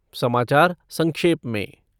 समाचार संक्षेप में